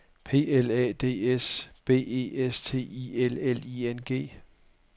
P L A D S B E S T I L L I N G